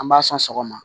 An b'a sɔn sɔgɔma